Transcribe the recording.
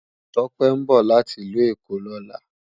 Tope nbò láti Ilù Ekó lòlá